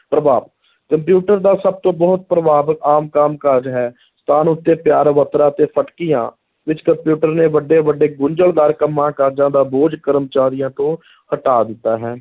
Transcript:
ਪ੍ਰਭਾਵ, ਕੰਪਿਊਟਰ ਦਾ ਸਭ ਤੋਂ ਬਹੁਤ ਪ੍ਰਭਾਵ ਆਮ ਕੰਮ ਕਾਜ ਹੈ, ਸਥਾਨ ਉੱਤੇ ਫਟਕੀਆਂ ਵਿੱਚ ਕਪਿਊਟਰ ਨੇ ਵੱਡੇ ਵੱਡੇ ਗੁੰਝਲਦਾਰ ਕੰਮਾਂ ਕਾਜਾਂ ਦਾ ਬੋਝ ਕਰਮਚਾਰੀਆਂ ਤੋਂ ਹਟਾ ਦਿੱਤਾ ਹੈ